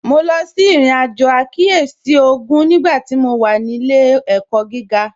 Mo lọ sí irin-ajo àkíyèsí ogún nígbàtí mó wà ní ilẹ̀-ẹ̀kọ̀ gígà